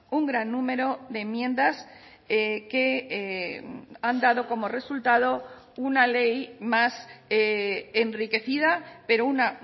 un gran número de enmiendas que han dado como resultado una ley más enriquecida pero una